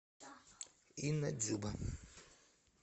инна дзюба